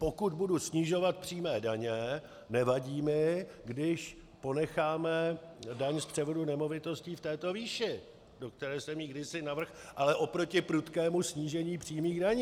Pokud budu snižovat přímé daně, nevadí mi, když ponecháme daň z převodu nemovitostí v této výši, do které jsem ji kdysi navrhl, ale oproti prudkému snížení přímých daní.